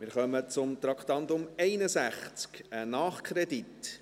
Wir kommen zum Traktandum 61, einem Nachkredit.